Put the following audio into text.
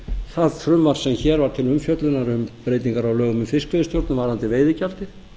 það frumvarp sem hér var til umfjöllunar um breytingar á lögum um fiskveiðistjórn varðandi veiðigjaldið